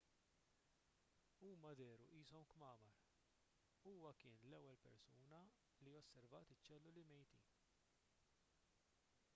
huma dehru qishom kmamar huwa kien l-ewwel persuna li osservat iċ-ċelluli mejtin